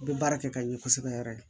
N bɛ baara kɛ ka ɲɛ kosɛbɛ yɛrɛ de